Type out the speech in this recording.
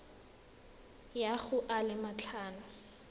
ya go a le matlhano